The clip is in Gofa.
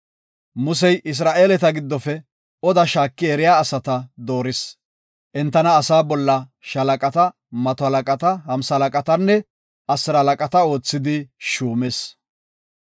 Musey Isra7eeleta giddofe oda shaaki eriya asata dooris. Entana asaa bolla shaalaqata, mato halaqata, hamsalaqatanne asiralaqata oothidi shuumis.